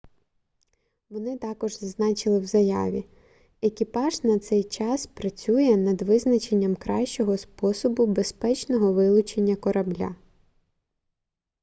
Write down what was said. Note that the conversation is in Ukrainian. вони також зазначили в заяві екіпаж на цей час працює над визначенням кращого способу безпечного вилучення корабля